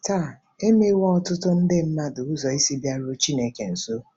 Taa, e meghewo ọtụtụ nde mmadụ ụzọ isi bịaruo Chineke nso!